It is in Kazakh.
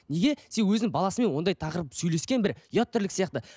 неге себебі өзінің баласымен ондай тақырып сөйлескен бір ұят тірлік сияқты